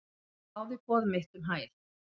Hann þáði boð mitt um hæl.